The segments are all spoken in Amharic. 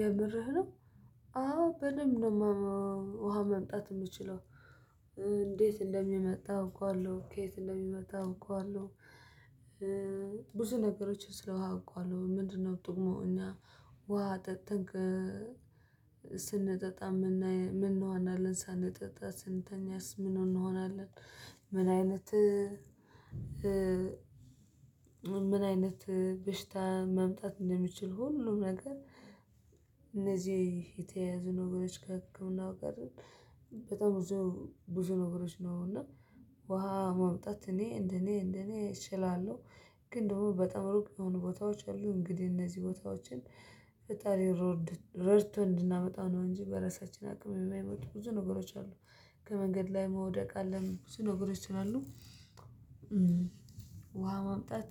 የምርህ ነው አዎ በደንብ ነው። ውሃ መምጣት የምችለው። እንዴት እንደሚመጣ አውቃዋለሁ ከየት እንደሚመጣ አውቃዋለሁ። ብዙ ነገሮችን ስለውሃ አውቃለሁ ምንድነው ጥቅሙ እና ውሃ ጠጥክ? ስንጠጣ የምናየው ምን ነው ሳንጠጣ ስንተኛስ ምን እንሆናለን? ምን አይነት ምን አይነት በሽታ መምጣት እንደሚችል ሁሉም ነገር። የተያዙ ነገሮች ከህክምናው ጋር በጣም ብዙ ብዙ ነገሮች ነው። እና ውሃ ማምጣት እኔ እንደኔ እንደኔ እችላለሁ። ግን ደግሞ በጣም ሩቅ የሆኑ ቦታዎች አሉ እንግዲህ እነዚህ ቦታዎችን ፈጣሪ ሮድ ረድቶን እንድናመጣ ነው። እንጂ በራሳችን አቅም የማይመጡ ብዙ ነገሮች አሉ። ከመንገድ ላይ መውደቅ አለም ብዙ ነገሮች ስላሉ። ውሃ ማምጣት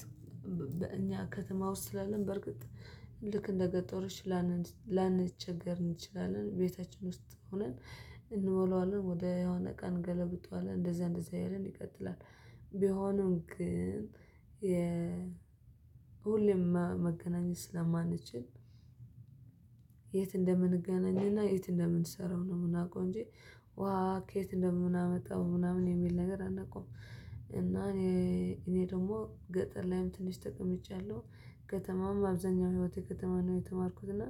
በእኛ ከተማ ውስጥ ስላለን በርግጥ ልክ እንደገጠርች ላንቸገር እንችላለን ቤታችን ውስጥ ሆነን እንሞላዋለን ወደ የሆነ ቀን እንገለብጠዋለን እንደዛ እንደዛ እያልን ይቀጥላል። ቢሆንም ግን የ ሁሌም መገናኘት ስለማንችል የት እንደምንገናኝና የት እንደምንሰራው ነው። ምናዉቀው እንጂ ዉሃ ከየት እንደምናመጣ ምናምን የሚል ነገር አንቀዉም። እና እኔ እኔ ደግሞ ገጠር ላይም ትንሽ ተቀምጫለሁ። ከተማም አብዛኛው ህይወቴ ከተማ ነው። የተማርኩት እና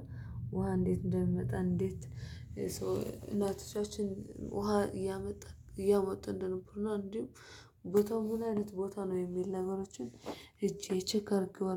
ውሃ እንዴት እንደሚመጣ እንዴት ሰው እናቶቻችን ውሃ እያመጣ እያመጡ እንደነበርና እንዲሁም ቦታው ምን አይነት ቦታ ነው የሚል ነገሮችን ሄጄ ቼክ አድርገዋል